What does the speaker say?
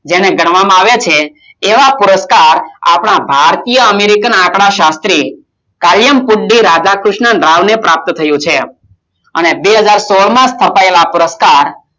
જેને ગણવામાં આવિયા છે એવા પુરુષકાર આપણા ભારતીય અમેરિકન આંકડાશત્રીઅ કાલમુક્તિ રાધાકૃષ્ણ રાવ પ્રાપ્ત થયુ છે અને બે હજાર સોળમા છપાયેલા પુરુષકાર